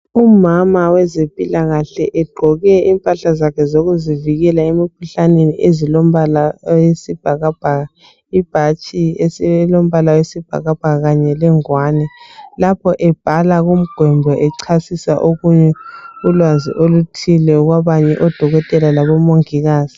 Umama wezempilakahle, egqoke impahlaza zakhe zokuzivikela emkhuhlaneni. Ezilombala owesibhakabhaka. Ibhatshi elombala wesibhakabhaka, kanye lengwani. Lapho ebhala kumgwembe, echasisa, okunye, ulwazi oluthile. Kwamanye amadokotela, labomongikazi.